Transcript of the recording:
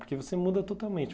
Porque você muda totalmente.